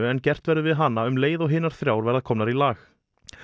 en gert verður við hana um leið og hinar þrjár verða komnar í lag